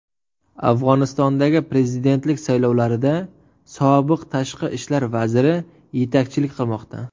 Afg‘onistondagi prezidentlik saylovlarida sobiq tashqi ishlar vaziri yetakchilik qilmoqda.